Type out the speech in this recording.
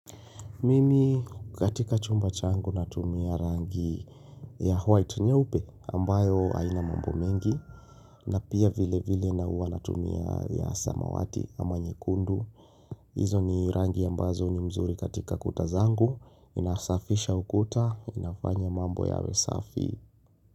Mimi katika chumba changu natumia rangi ya white nyeupe ambayo aina mambo mengi na pia vile vile na hua natumia ya samawati ama nyekundu. Izo ni rangi ambazo ni mzuri katika kuta zangu inasafisha ukuta inafanya mambo yawe safi.